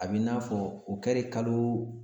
A b'i n'a fɔ o kɛlen kalo